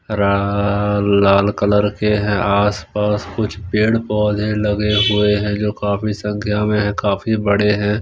रा लाल कलर के है आस पास कुछ पेड़ पौधे लगे हुए हैं जो काफी संख्या में है काफी बड़े हैं।